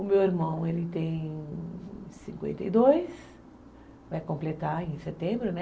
O meu irmão, ele tem cinquenta e dois, vai completar em setembro, né?